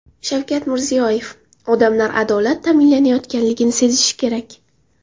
Shavkat Mirziyoyev: Odamlar adolat ta’minlanayotganini sezishi kerak.